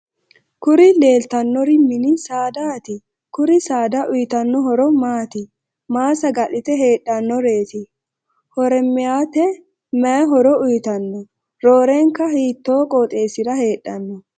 kuri leelitannori mini saadati? kuri saada uyitanno horo maati? maa saga'lite heexxannoreeti? horaameeyyete mayi horo uyitanno? roorenka hiitoo qoxxessira heedhanno?